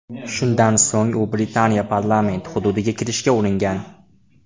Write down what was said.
Shundan so‘ng u Britaniya parlamenti hududiga kirishga uringan.